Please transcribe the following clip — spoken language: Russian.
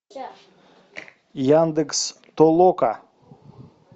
яндекс толока